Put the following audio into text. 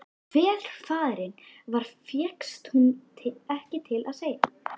En hver faðirinn var fékkst hún ekki til að segja.